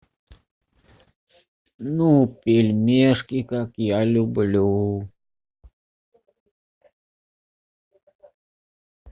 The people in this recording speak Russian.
ну пельмешки как я люблю